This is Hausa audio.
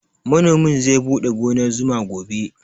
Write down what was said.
Manomin zai buɗe gonar zuma gobe